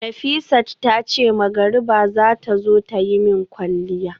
Nafisat tace magariba zata zo tayi min kwalliya